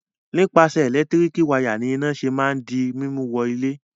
Nípasẹ̀ ẹ̀lẹ́tíríkì wayà ni iná ṣe máa ń di mímú wọ ilé.